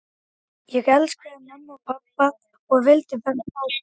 Ég elskaði mömmu og pabba og vildi vera hjá þeim.